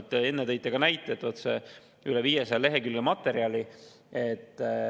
Te enne ka, et on üle 500 lehekülje materjali.